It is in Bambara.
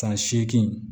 San seegin